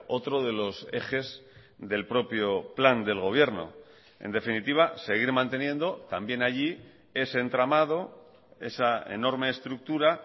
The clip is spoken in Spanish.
otro de los ejes del propio plan del gobierno en definitiva seguir manteniendo también allí ese entramado esa enorme estructura